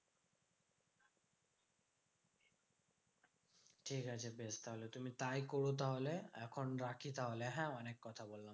ঠিকাছে বেশ তাহলে তুমি তাই করো তাহলে। এখন রাখি তাহলে হ্যাঁ অনেক কথা বললাম।